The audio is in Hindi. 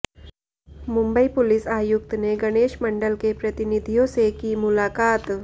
मुंबई पुलिस आयुक्त ने गणेश मंडल के प्रतिनिधियों से की मुलाकात